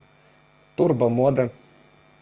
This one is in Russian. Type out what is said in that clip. турбо мода